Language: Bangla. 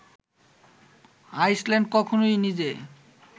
আইসল্যান্ড কখনোই নিজে